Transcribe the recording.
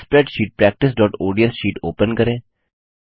spreadsheet practiceओडीएस sheet open करें